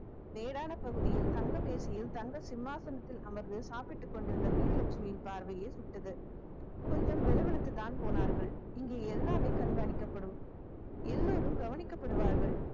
தேடான பகுதியில் தங்க வேசியில் தங்க சிம்மாசனத்தில் அமர்ந்து சாப்பிட்டுக் கொண்டிருந்த வீரலட்சுமியின் பார்வையே சுட்டது கொஞ்சம் வெல வெளுத்துதான் போனார்கள் இங்கே எல்லாமே கண்காணிக்கப்படும் எல்லாரும் கவனிக்கப்படுவார்கள்